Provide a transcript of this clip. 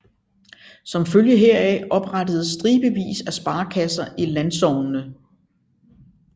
Som følge heraf oprettedes stribevis af sparekasser i landsognene